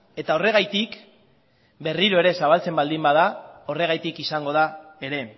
eta horregatik berriro ere zabaltzen baldin bada horregatik izango da ere